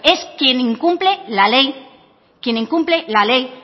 es quien incumple la ley